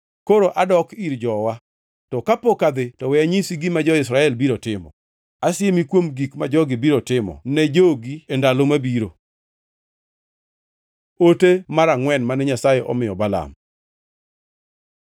Koro adok ir jowa, to kapok adhi to we anyisi gima jo-Israel biro timo, asiemi kuom gik ma jogi biro timo ne jogi e ndalo mabiro.” Ote mar angʼwen mane Nyasaye omiyo Balaam